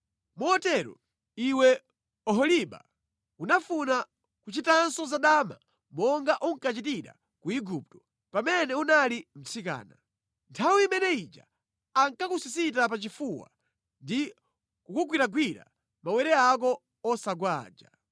Motero, iwe Oholiba unafuna kuchitanso zadama monga unkachitira ku Igupto pamene unali mtsikana. Nthawi imene ija ankakusisita pa chifuwa ndi kugwiragwira mawere ako osagwa aja.